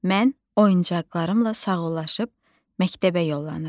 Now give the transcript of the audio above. Mən oyuncaqlarımla sağollaşıb məktəbə yollanıram.